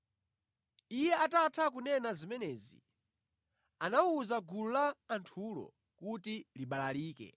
Iye atatha kunena zimenezi anawuza gulu la anthulo kuti libalalike.